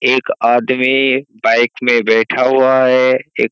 एक आदमी बाइक में बैठा हुआ है एक --